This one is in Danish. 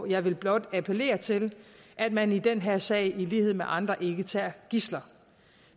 jeg vil blot appellere til at man i den her sag i lighed med andre ikke tager gidsler